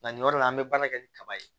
Nka nin yɔrɔ la an bɛ baara kɛ ni kaba ye